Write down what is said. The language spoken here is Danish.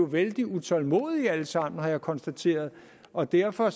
vældig utålmodige alle sammen har jeg konstateret og derfor er